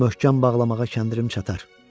Möhkəm bağlamağa kəndirim çatar.